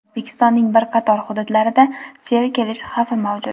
O‘zbekistonning bir qator hududlarida sel kelishi xavfi mavjud.